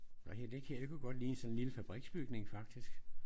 Nej det her det kunne godt ligne sådan en lille fabriksbygning faktisk